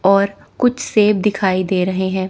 और कुछ सेव दिखाई दे रहे हैं।